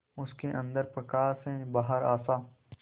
उसके अंदर प्रकाश है बाहर आशा